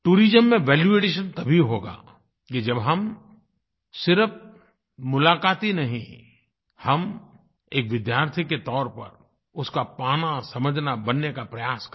tourism में value addition तभी होगा कि जब हम सिर्फ़ मुलाक़ाती नहीं हम एक विद्यार्थी के तौर पर उसका पानासमझनाबनने का प्रयास करें